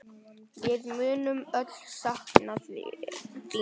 Við munum öll sakna þín.